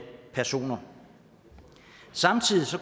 personer samtidig